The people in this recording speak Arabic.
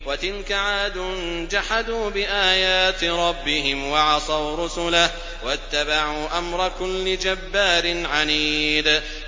وَتِلْكَ عَادٌ ۖ جَحَدُوا بِآيَاتِ رَبِّهِمْ وَعَصَوْا رُسُلَهُ وَاتَّبَعُوا أَمْرَ كُلِّ جَبَّارٍ عَنِيدٍ